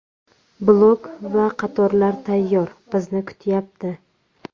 Blok va qatorlar tayyor, bizni kutyapti.